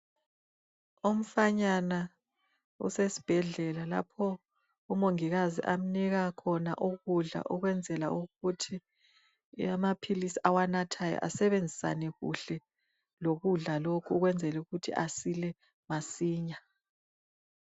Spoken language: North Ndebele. Umfanyana usesibhedlela lapho umongikazi amnika khona ukudla ukwenzela ukuthi amaphilisi awanathayo asebenzisane kuhle lokudla lokhu ukwenzela ukuthi asile masinya.